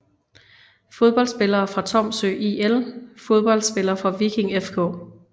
Fodboldspillere fra Tromsø IL Fodboldspillere fra Viking FK